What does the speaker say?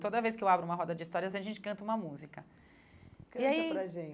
Toda vez que eu abro uma roda de histórias, a gente canta uma música. E aí canta para a gente